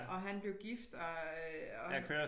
Og han blev gift og øh og